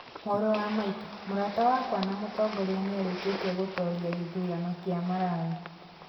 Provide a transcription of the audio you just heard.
Mũrũ wa maitũ, mũrata wakwa na mũtongoria nĩ arĩkĩtie gũtooria gĩthurano kĩa Malawi